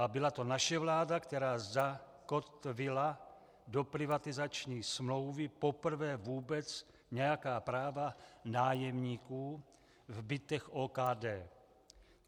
A byla to naše vláda, která zakotvila do privatizační smlouvy poprvé vůbec nějaká práva nájemníků v bytech OKD.